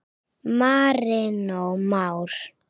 Marinó Már.